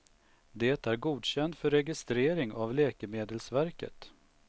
Det är godkänt för registering av läkemedelsverket.